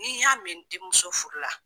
N'i y'a mɛn n denmuso furu la.